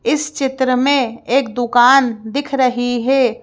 इस चित्र में एक दुकान दिख रही है।